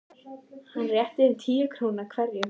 Hann rétti þeim tíu krónur hverjum.